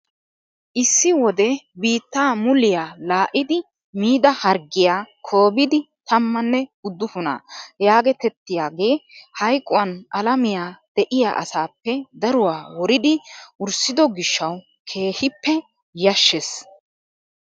Issi wode biittaa muliyaa laa'idi miida harggiyaa coovid tammanne uduppunaa yaagetettiyaage hayqquwaan alamiyaa de'iyaa asaappe daruwaa woridi wurssido gishshawu keehippe yashshees.